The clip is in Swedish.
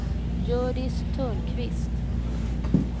Hjördis Törnqvist